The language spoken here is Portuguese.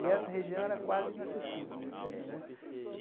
E essa região era quase inacessível, não tinha, né?